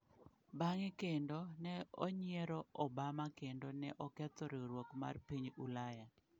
Bang’e kendo, ne onyiero Obama kendo ne oketho riwruok mar piny Ulaya.